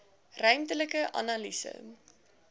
ruimtelike analise